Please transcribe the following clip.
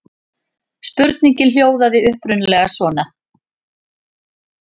Spurningin hljóðaði upprunalega svona: